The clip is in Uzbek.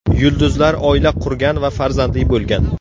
Yulduzlar oila qurgan va farzandli bo‘lgan.